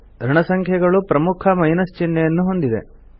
ಋಣಸಂಖ್ಯೆಗಳು ಪ್ರಮುಖ ಮೈನಸ್ ಚಿಹ್ನೆಯನ್ನು ಹೊಂದಿದೆ